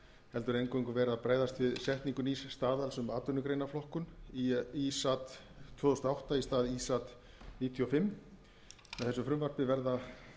heldur eingöngu verið að bregðast við setningu nýs staðals um atvinnugreinaflokkun í ísat tvö þúsund og átta í stað ísat tvö þúsund og fimm með þessu frumvarpi verða